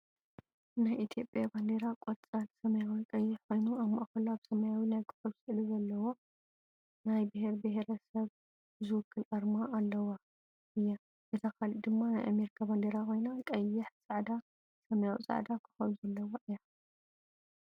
ናይ ኢትዮጵያ ባንዴራ ቆፃል፣ ሰማያዊ፣ ቀይሕ ኮይኑ ኣብ ማእከሉ ኣብ ሰማያዊ ናይ ኮኮብ ስእሊ ዘለዋ ናይ ቢሄር ቢሄረሰብ ዝውክል ኣርማ ዘለዋ እያ። እታ ካልእ ድማ ናይ ኣሜሪካ ባንዴራ ኮይና ቀይሕ፣ ፃዕዳ፣ ሰማያዊ ፃዕዳ ኮኮብ ዘለዋ እያ።